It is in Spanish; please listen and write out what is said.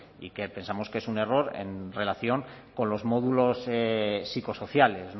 y que pensamos que es un error en relación con los módulos psicosociales